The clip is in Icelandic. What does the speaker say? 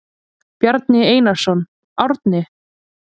Bjarni Einarsson, Árni.